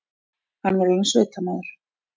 Hann var orðinn sveitamaður.